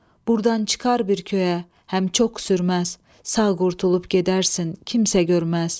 Burdan çıxar bir köyə, həm çox sürməz, sağ qurtulub gedərsən, kimsə görməz.